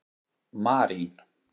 Marín